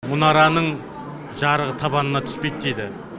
мұнараның жарығы табанына түспейді дейді